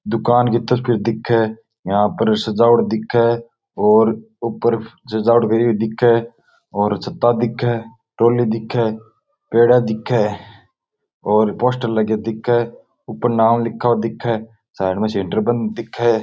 दूकान की तस्वीर दिखे यहाँ पर सजावट दिखे और ऊपर सजावट करि हुई दिखे और छत्ता दिखे ट्राली दिखे पेड़े दिखे और पोस्टर लगे दिखे ऊपर नाम लिखा हुआ दिखे साइड में सेण्टर बल्ब दिखे।